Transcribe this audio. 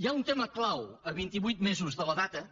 hi ha un tema clau a vint i vuit mesos de la data